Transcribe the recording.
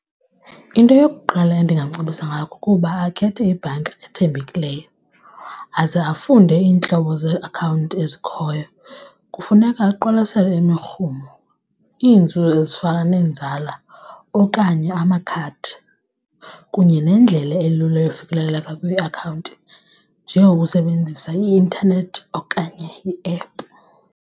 Into yokuqala endingamcebisa ngayo kukuba akhethe ibhanka ethembekileyo aze afunde iintlobo zeakhawunti ezikhoyo. Kufuneka aqwalasele imirhumo, iinzuzo ezifana nenzala okanye amakhadi kunye nendlela elula yofikelela kwiakhawunti njengokusebenzisa i-intanethi okanye i-app.